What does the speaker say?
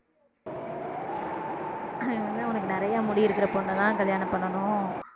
அவன் வந்து அவனுக்கு நிறைய முடி இருக்கிற பொண்ணதான் கல்யாணம் பண்ணணும்